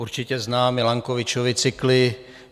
Určitě zná Milankovičovy cykly.